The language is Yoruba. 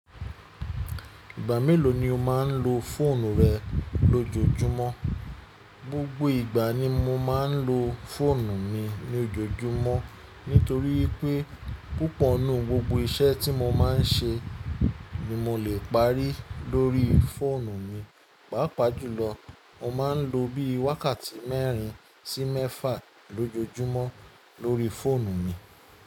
Ìgbà mélòó ni o máa ń lo fóònù rẹ lójoojúmọ́? Gbogbo ìgbà ni mo máa ń lo fóònù mi ní ojoojúmọ́ nítorí wípé púpọ̀ nínú gbogbo iṣẹ́ tí mo máa ń ṣe ni mo lè parí lórí fóònù mi. Pàápàá jùlọ, mo má a ń lo bí i wákàtí mẹ́rin sí mẹ́fà lójojúmọ́ lórí fóònù mi.